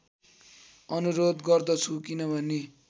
अनुरोध गर्दछु किनभने